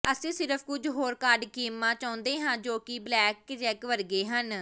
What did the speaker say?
ਅਸੀਂ ਸਿਰਫ ਕੁਝ ਹੋਰ ਕਾਰਡ ਗੇਮਾਂ ਚਾਹੁੰਦੇ ਹਾਂ ਜੋ ਕਿ ਬਲੈਕਜੈਕ ਵਰਗੇ ਹਨ